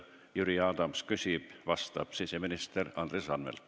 Jüri Adams küsib, vastab siseminister Andres Anvelt.